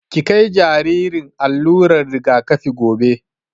Ki kai jaririn allular rigakafi gobe!